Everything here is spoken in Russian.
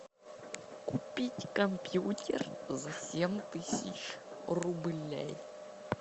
купить компьютер за семь тысяч рублей